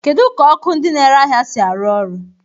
Kedu ka ọkụ ndị na-ere ahịa si arụ ọrụ?